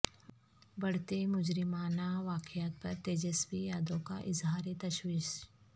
بڑھتے مجرمانہ واقعات پر تیجسوی یادو کا اظہار تشویش